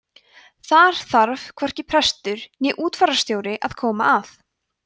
þar þarf hvorki prestur né útfararstjóri að koma að